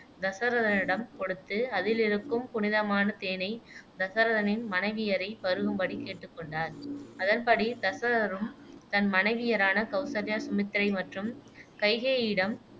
தசரதனிடம் கொடுத்து அதிலிருக்கும் புனிதமான தேனைத் தசரதனின் மனைவியரை பருகும்படி கேட்டு கொண்டார் அதன்படி தசரதரும் தன் மனைவியரான கௌசல்யா, சுமித்திரை மற்றும் கைகேயியிடம்